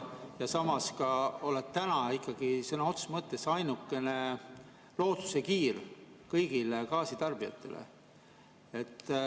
Samas sa oled täna ikkagi sõna otseses mõttes ainukene lootuskiir kõigile gaasitarbijatele.